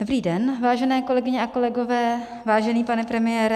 Dobrý den, vážené kolegyně a kolegové, vážený pane premiére.